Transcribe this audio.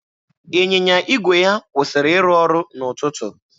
Ịnyịnya igwe ya kwụsịrị ịrụ ọrụ n'ụtụtụ.